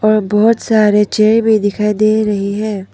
और बहोत सारे चेयर भी दिखाई दे रही है।